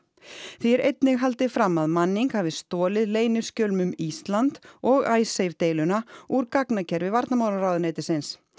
því er einnig haldið fram að Manning hafi stolið leyniskjölum um Ísland og Icesave deiluna úr varnarmálaráðuneytisins